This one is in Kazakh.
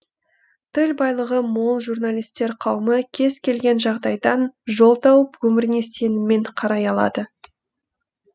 тіл байлығы мол журналисттер қауымы кез келген жағдайдан жол тауып өміріне сеніммен қарай алады